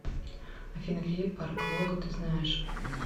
афина какие парк лога ты знаешь